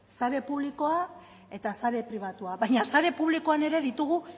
sare publikoa eta sare pribatua baina sare publikoan ere ditugu